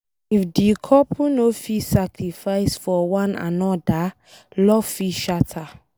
If di couple no fit sacrifice for one anoda love fit shatter.